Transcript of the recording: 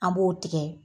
An b'o tigɛ